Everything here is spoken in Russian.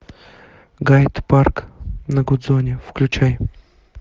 гайд парк на гудзоне включай